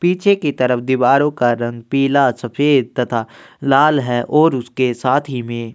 पीछे की तरफ दीवारों का रंग पिला सफेद तथा लाल है और उसके साथ ही में --